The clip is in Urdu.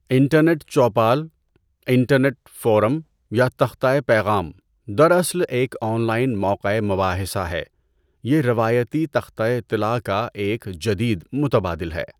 انٹرنیٹ چوپال، انٹرنیٹ فورم یا تختۂ پیغام دراصل ایک آن لائن موقعۂ مباحثہ ہے، یہ روایتی تختۂ اطلاع کا ایک جدید متبادل ہے۔